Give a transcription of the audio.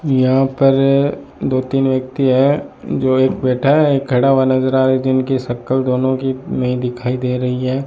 यहां पर दो तीन व्यक्ति है जो एक बैठा है एक खड़ा हुआ नजर आ रहा है जिनकी शक्ल दोनों की नहीं दिखाई दे रही है।